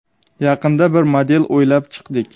Yaqinda bir model o‘ylab chiqdik.